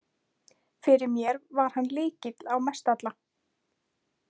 Fyrir mér var hann lykilinn á Mestalla.